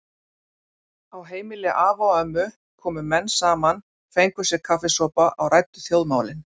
Á heimili afa og ömmu komu menn saman, fengu sér kaffisopa og ræddu þjóðmálin.